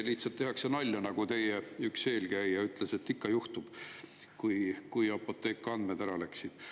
Lihtsalt tehakse nalja, nagu siis, kui Apothekast andmed läksid, teie üks eelkäija ütles: "Ikka juhtub.